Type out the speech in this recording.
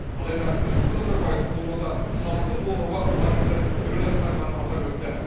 алайда нұрсұлтан назарбаев бұл жолда халықтың қолдауы маңызды рөл атқарғанын атап өтті